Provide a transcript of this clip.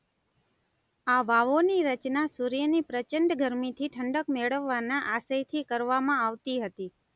આ વાવોની રચના સૂર્યની પ્રચંડ ગરમીથી ઠંડક મેળવવાના આશયથી કરવામાં આવતી હતી.